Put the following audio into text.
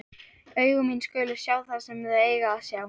Augu mín skulu sjá það sem þau eiga að sjá.